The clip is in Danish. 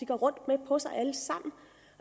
går rundt med på sig alle sammen